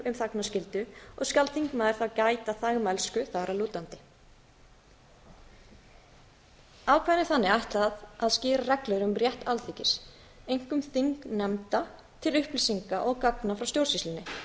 um þagnarskyldu og skal þingmaður þá gæta þagmælsku þar að lútandi ákvæðinu er þannig ætlað að skýra reglur um rétt alþingis einkum þingnefnda til upplýsinga og gagna frá stjórnsýslunni